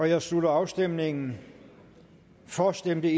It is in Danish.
jeg slutter afstemningen for stemte